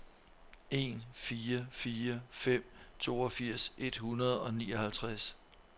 en fire fire fem toogfirs et hundrede og nioghalvtreds